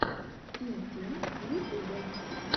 тим тим в ютубе